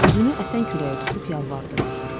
Üzünü əsən küləyə tutub yalvardı.